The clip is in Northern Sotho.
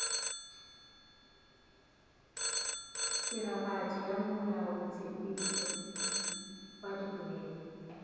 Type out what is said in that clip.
tiragatšo ya molaotshepetšo wa dipolelo